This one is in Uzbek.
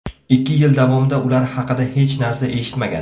Ikki yil davomida ular haqida hech narsa eshitmagan.